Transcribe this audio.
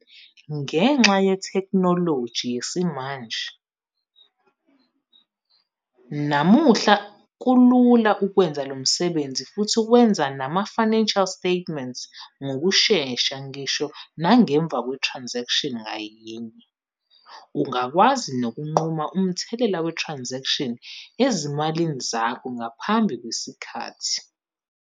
Ngenxa yetheknoloji yesimanje, namuhla kulula ukwenza lo msebenzi futhi wenze nama-financial statements ngokushesha ngisho nangemva kwe-transaction ngayinye. Ungakwazi nokunquma umthelela we-transaction ezimalini zakho ngaphambi kwesikhathi.